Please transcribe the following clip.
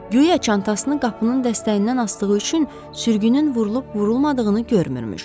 Guya çantasını qapının dəstəyindən asdığı üçün sürgünün vurulub-vurulmadığını görmürmüş.